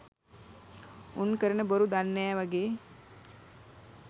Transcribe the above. උන් කරන බොරු දන්නෑ වගෙ